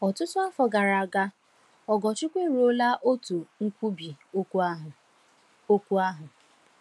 Ọtụtụ afọ gara aga, Ogorchukwu eruola otu nkwubi okwu ahụ. okwu ahụ.